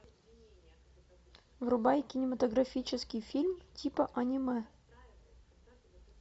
врубай кинематографический фильм типа аниме